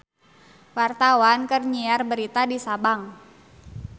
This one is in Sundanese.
Wartawan keur nyiar berita di Sabang